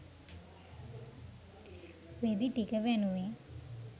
රෙදි ටික වැනුවෙ.